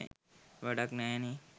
වැඩක් නැහැනේ.